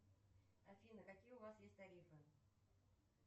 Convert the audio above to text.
афина какие у вас есть тарифы